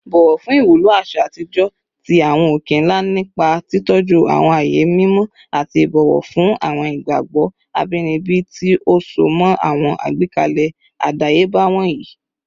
Bọwọ fun iwulo aṣa atijọ ti awọn oke-nla nipa titọju awọn aaye mimọ ati ibọwọ fun awọn igbagbọ abinibi ti o so mọ awọn agbekalẹ adayeba wọnyi